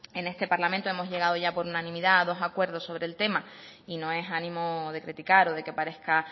en este parlamento hemos llegado ya por unanimidad a dos acuerdos sobre el tema y no es ánimo de criticar o de que parezca